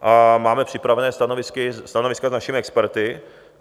A máme připravena stanoviska s našimi experty.